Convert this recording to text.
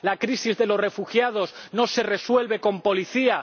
La crisis de los refugiados no se resuelve con policía.